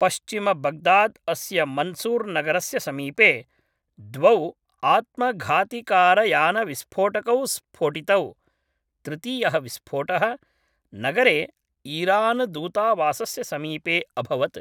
पश्चिमबग्दाद् अस्य मन्सूर् नगरस्य समीपे द्वौ आत्मघातिकारयानविस्फोटकौ स्फोटितौ, तृतीयः विस्फोटः नगरे ईरानदूतावासस्य समीपे अभवत्।